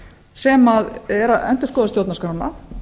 sem er að endurskoða stjórnarskrána